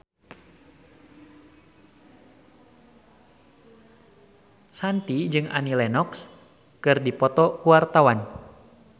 Shanti jeung Annie Lenox keur dipoto ku wartawan